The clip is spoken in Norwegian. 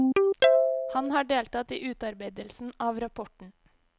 Han har deltatt i utarbeidelsen av rapporten.